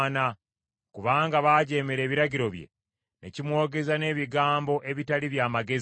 kubanga baajeemera ebiragiro bye, ne kimwogeza n’ebigambo ebitaali bya magezi.